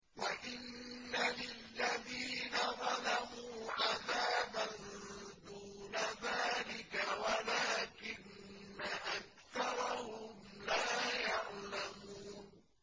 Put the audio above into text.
وَإِنَّ لِلَّذِينَ ظَلَمُوا عَذَابًا دُونَ ذَٰلِكَ وَلَٰكِنَّ أَكْثَرَهُمْ لَا يَعْلَمُونَ